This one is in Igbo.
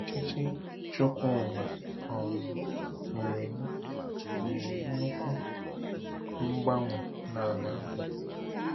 Ọchịchị Chukwuma um nwere nwere nnukwu mgbanwe n'ala Abia.